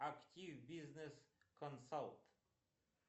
актив бизнес консалт